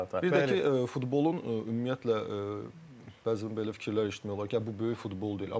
Bir də ki, futbolun ümumiyyətlə bəzən belə fikirlər eşitmək olar ki, bu böyük futbol deyil.